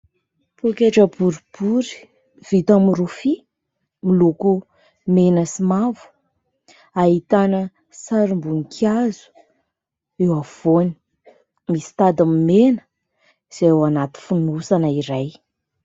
Poketra boribory vita amin'ny rofia miloko mena sy mavo, ahitana sarim-boninkazo eo afovoany, misy tady mena izay ao anaty fonosana iray.